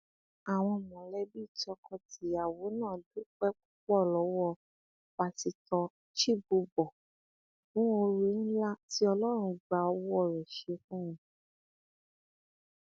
àwọn mọlẹbí tọkọtìyàwó náà dúpẹ púpọ lọwọ pásítọ chibubur fún oore ńlá tí ọlọrun gba owó rẹ ṣe fún wọn